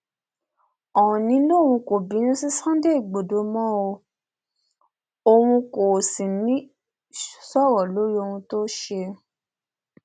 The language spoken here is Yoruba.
òónì lòun kò bínú sí sunday igbodò mọ òun kò sì ní í sọrọ lórí ohun tó ṣe